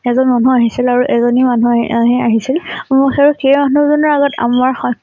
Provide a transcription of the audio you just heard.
এজন মানুহ আহিছিল আৰু এজনী মানুহ আহি আহি আহিছিল। আৰু সেই মানুহ জনে আগতে আমাৰ